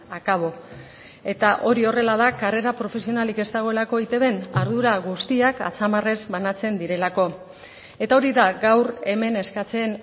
akabo eta hori horrela da karrera profesionalik ez dagoelako eitbn ardura guztiak atzamarrez banatzen direlako eta hori da gaur hemen eskatzen